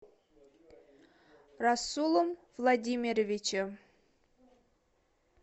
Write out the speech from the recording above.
расулом владимировичем